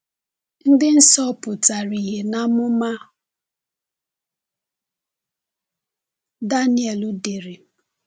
Ndị nsọ pụtara ìhè n’amụma Daniel dere.